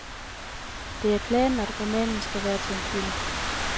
Det er planen, at romanen skal blive til en film.